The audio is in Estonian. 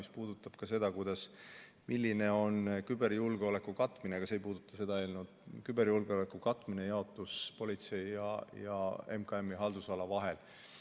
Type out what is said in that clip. See puudutab seda, milline on küberjulgeoleku katmise – see ei puuduta seda eelnõu – jaotus politsei ja MKM-i haldusala vahel.